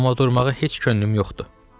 Amma durmağa heç könlüm yoxdur.